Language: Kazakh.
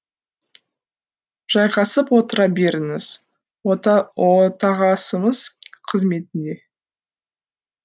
жайғасып отыра беріңіз отағасыңыз қызметінде